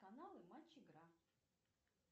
каналы матч игра